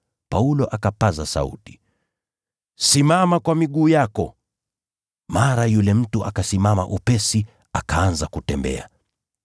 Paulo akapaza sauti, “Simama kwa miguu yako!” Mara yule mtu akasimama upesi akaanza kutembea!